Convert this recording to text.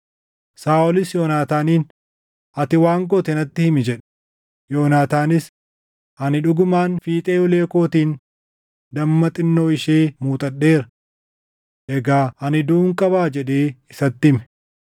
Saaʼolis Yoonaataaniin, “Ati waan goote natti himi” jedhe. Yoonaataanis, “Ani dhugumaan fiixee ulee kootiin damma xinnoo ishee muuxadheera. Egaa ani duʼuun qabaa?” jedhee isatti hime.